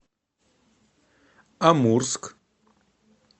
амурск